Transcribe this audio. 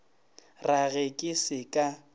ra ge ke se ka